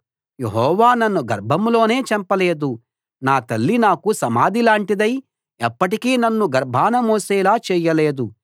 యెహోవా నన్ను గర్భంలోనే చంపలేదు నా తల్లి నాకు సమాధిలాంటిదై ఎప్పటికీ నన్ను గర్భాన మోసేలా చేయలేదు